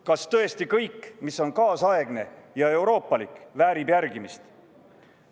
Kas tõesti kõik, mis on kaasaegne ja euroopalik, väärib järgimist?